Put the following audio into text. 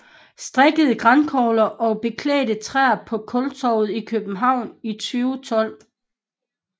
Strikkede grankogler og beklædte træer på Kultorvet i København i 2012